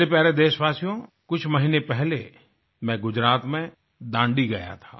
मेरे प्यारे देशवासियो कुछ महीने पहले मैं गुजरात में दांडी गया था